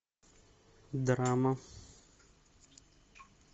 драма